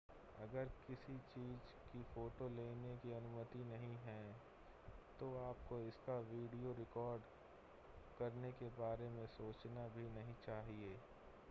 अगर किसी चीज़ की फ़ोटो लेने की अनुमति नहीं है तो आपको इसका वीडियो रिकॉर्ड करने के बारे में सोचना भी नहीं चाहिए